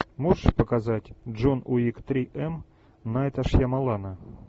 можешь показать джон уик три эм найта шьямалана